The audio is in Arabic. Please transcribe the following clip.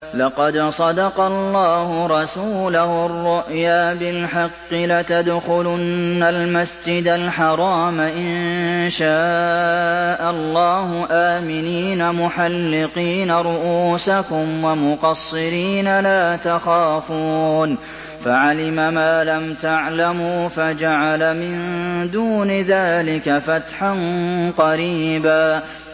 لَّقَدْ صَدَقَ اللَّهُ رَسُولَهُ الرُّؤْيَا بِالْحَقِّ ۖ لَتَدْخُلُنَّ الْمَسْجِدَ الْحَرَامَ إِن شَاءَ اللَّهُ آمِنِينَ مُحَلِّقِينَ رُءُوسَكُمْ وَمُقَصِّرِينَ لَا تَخَافُونَ ۖ فَعَلِمَ مَا لَمْ تَعْلَمُوا فَجَعَلَ مِن دُونِ ذَٰلِكَ فَتْحًا قَرِيبًا